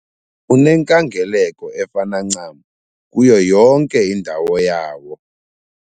Unenkangeleko efana ncam kuyo yonke indawo yawo.